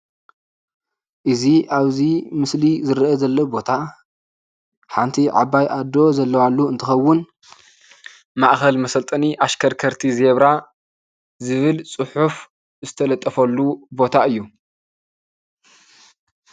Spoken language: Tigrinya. እዚ ኣብዚ ምስሊ ዝረአ ዘሎ ቦታ ሓንቲ ዓባይ አዶ ዘለዋሉ እንትከውን ማእከል መሰልጠኒ ኣሽከርከርቲ ዜብራ ዝብል ፁሑፍ ዝተለጠፈሉ ቦታ እዩ፡፡